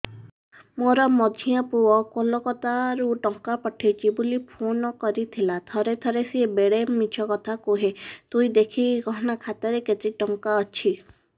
ମୋର ମଝିଆ ପୁଅ କୋଲକତା ରୁ ଟଙ୍କା ପଠେଇଚି ବୁଲି ଫୁନ କରିଥିଲା ଥରେ ଥରେ ସିଏ ବେଡେ ମିଛ କଥା କୁହେ ତୁଇ ଦେଖିକି କହନା ଖାତାରେ କେତ ଟଙ୍କା ଅଛି